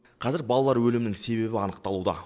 қазір балалар өлімінің себебі анықталуда